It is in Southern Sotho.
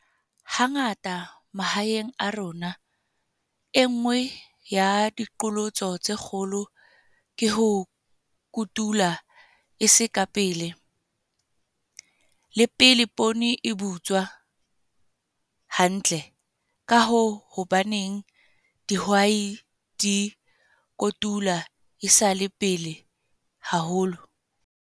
Hangata mahaeng a rona, e nngwe ya diqholotso tse kgolo ke ho kutula e sa le pele, le pele poone e butswa hantle. Ka hoo, hobaneng dihwai di kotula e sa le pele haholo?